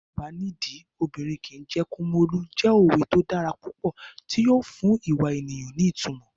Bí kò bá nídìí, obìnrin kìí jẹ́ Kumolu jẹ́ òwe tó dára púpọ̀ tí yóò fún ìwà ènìyàn ní ìtumọ̀.